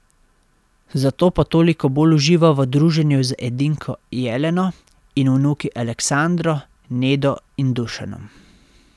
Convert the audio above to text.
Zato pa toliko bolj uživa v druženju z edinko Jeleno in vnuki Aleksandro, Nedo in Dušanom.